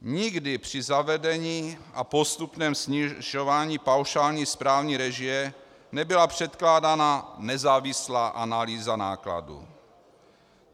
Nikdy při zavedení a postupném snižování paušální správní režie nebyla předkládaná nezávislá analýza nákladů.